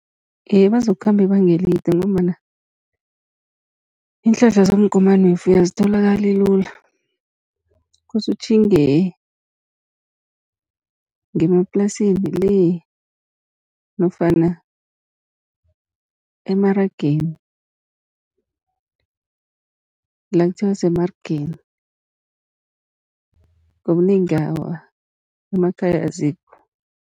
Iye, bazokukhamba ibanga elide, ngombana iinhlahla zomgomani wefuyo azitholakali lula. Kose utjhinge ngemaplasini le nofana emarageni, la kuthiwa semarigeni ngobunengi awa emakhaya azikho.